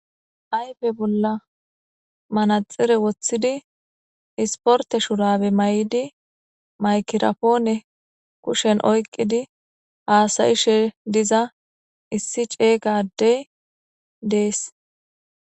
Hayfe bolla manaxire woththidi isporte shurabe may7di maykirapoone kushen oyqqidi haasayishe diza issi ceygadey dees.